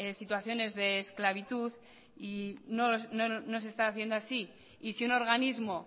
situaciones de esclavitud y no se está haciendo así y si un organismo